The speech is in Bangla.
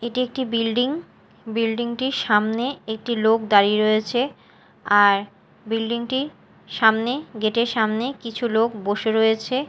এটি একটি বিল্ডিং বিল্ডিং -টির সামনে একটি লোক দাঁড়িয়ে রয়েছে আর বিল্ডিং -টি সামনে গেট -এর সামনে কিছু লোক বসে রয়েছে।